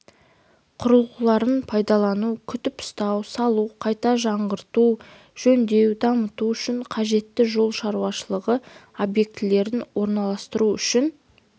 құрылғыларын пайдалану күтіп-ұстау салу қайта жаңғырту жөндеу дамыту үшін қажетті жол шаруашылығы объектілерін орналастыру үшін